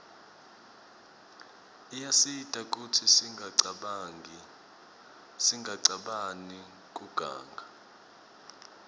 iyasita kutsi singacabani kuganga